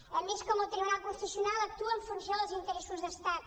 hem vist com el tribunal constitucional actua en funció dels interessos d’estat